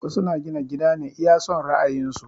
Wasu na gina gida ne iya son ra'ayin su